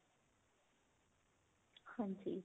ਹਾਂਜੀ